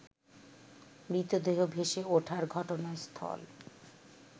মৃতদেহ ভেসে ওঠার ঘটনাস্থল